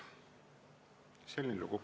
Selline lugu.